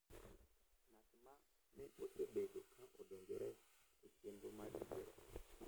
Ng’at ma ne osebedo ka odonjore e chenro mar yiero.